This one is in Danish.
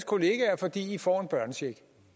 kollegaer fordi de får en børnecheck